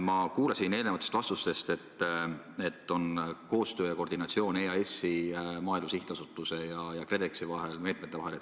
Ma kuulsin eelnevatest vastustest, et on koostöö ja koordinatsioon EAS-i, Maaelu Edendamise Sihtasutuse ja KredExi ning nende meetmete vahel.